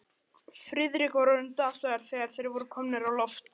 Friðrik var orðinn dasaður, þegar þeir voru komnir á loft.